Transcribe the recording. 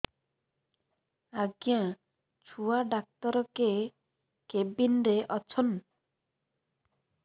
ଆଜ୍ଞା ଛୁଆ ଡାକ୍ତର କେ କେବିନ୍ ରେ ଅଛନ୍